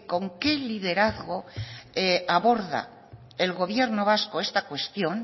con qué liderazgo aborda el gobierno vasco esta cuestión